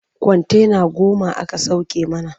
Kwantena goma aka sauke mana.